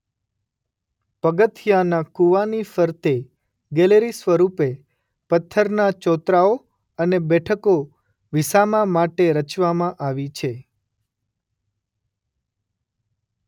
પગથિયાનાં કૂવાની ફરતે ગેલેરી સ્વરૂપે પથ્થરના ચોતરાઓ અને બેઠકો વિસામા માટે રચવામાં આવી છે.